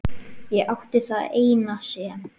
Ég átti það eina sem